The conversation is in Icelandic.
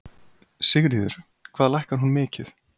Sigríður: Hvað lækkar hún mikið?